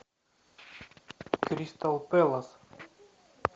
кристал пэлас